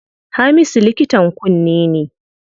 Hamisu likitan kunne ne.